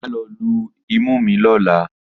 Mà á lọ lu imú mi lọ́la